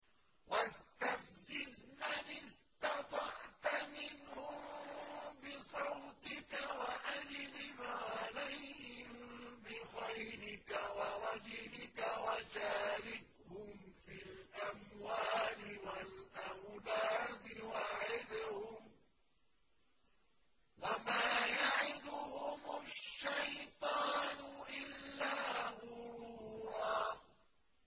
وَاسْتَفْزِزْ مَنِ اسْتَطَعْتَ مِنْهُم بِصَوْتِكَ وَأَجْلِبْ عَلَيْهِم بِخَيْلِكَ وَرَجِلِكَ وَشَارِكْهُمْ فِي الْأَمْوَالِ وَالْأَوْلَادِ وَعِدْهُمْ ۚ وَمَا يَعِدُهُمُ الشَّيْطَانُ إِلَّا غُرُورًا